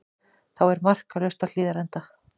Þá er markalaust á Hlíðarenda